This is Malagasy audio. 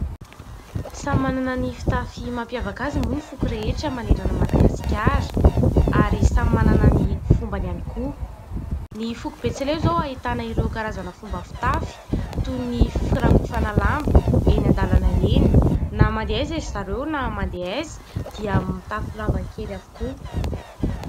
Samy manana ny fitafy mampiavaka azy moa ny foko rehetra manerana an'i Madagasikara ary samy manana ny fombany ihany koa. Ny foko betsileo izao ahitana ireo karazana fomba fitafy toy ny : firakofana lamba eny an-dàlana eny na mandeha aiza izy ireo na mandeha aiza dia mitafy lamba kely avokoa.